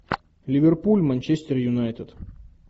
ливерпуль манчестер юнайтед